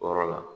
Wɔɔrɔ la